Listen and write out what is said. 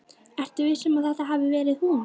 Ertu viss um að þetta hafi verið hún?